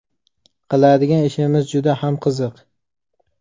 Qiladigan ishimiz juda ham qiziq.